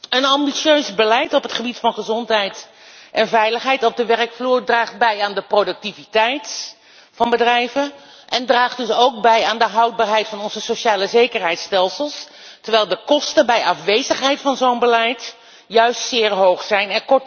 Een ambitieus beleid op het gebied van gezondheid en veiligheid op de werkvloer draagt bij aan de productiviteit van bedrijven en draagt dus ook bij aan de houdbaarheid van onze socialezekerheidsstelsels, terwijl de kosten van het ontbreken van zo'n beleid juist zeer hoog zijn.